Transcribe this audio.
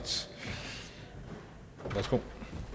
værsgo